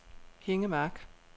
Hinge Mark